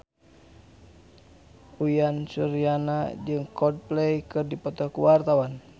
Uyan Suryana jeung Coldplay keur dipoto ku wartawan